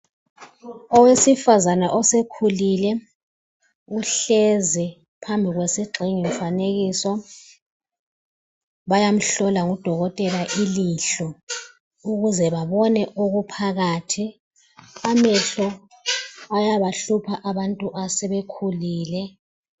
Owesifana osekhulile uhlezi phambi kwesigxingi mfanekiso bayamhlola ngudokotela ilihlo ukuze babone okuphakathi amehlo ayabahlupha abantu asebekhulile.